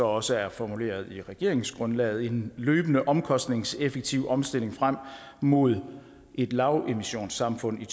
også er formuleret i regeringsgrundlaget en løbende omkostningseffektiv omstilling frem mod et lavemissionssamfund i